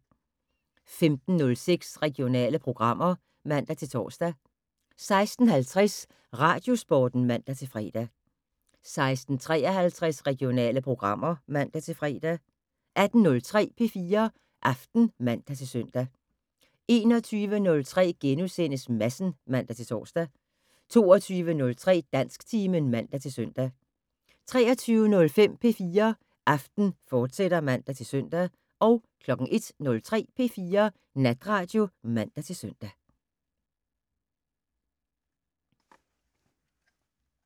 15:06: Regionale programmer (man-tor) 16:50: Radiosporten (man-fre) 16:53: Regionale programmer (man-fre) 18:03: P4 Aften (man-søn) 21:03: Madsen *(man-tor) 22:03: Dansktimen (man-søn) 23:05: P4 Aften, fortsat (man-søn) 01:03: P4 Natradio (man-søn)